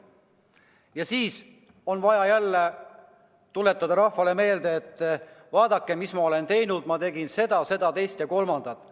Ja siis on vaja jälle rahvale meelde tuletada, mis ma kõik olen teinud, ma tegin seda, teist ja kolmandat.